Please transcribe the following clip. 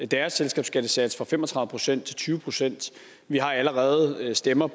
deres selskabsskattesats fra fem og tredive procent til tyve procent vi har allerede stemmer